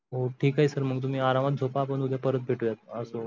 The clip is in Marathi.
हो ठीक आहे. sir तुम्ही आरामात झोप मग आपण उदय परत भेटूयात असो,